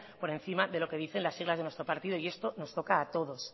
por encima de lo que dicen las siglas de nuestro partido y esto nos toca a todos